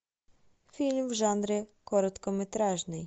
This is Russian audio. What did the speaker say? фильм в жанре короткометражный